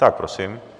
Tak prosím.